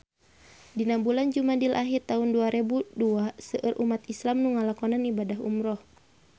Dina bulan Jumadil ahir taun dua rebu dua seueur umat islam nu ngalakonan ibadah umrah